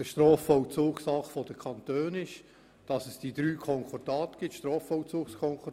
Der Strafvollzug ist ja Sache der Kantone, und es gibt drei Strafvollzugskonkordate.